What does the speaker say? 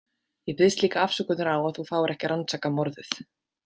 Ég biðst líka afsökunar á að þú fáir ekki að rannsaka morðið.